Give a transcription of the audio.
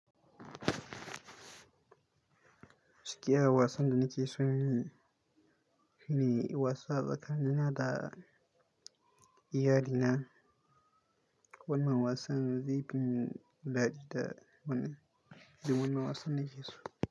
Gaskiya wasan da nike so yi ne wasa tsakanina da iyali na. Wannan wasan zai fi, shi ne wasan nake so.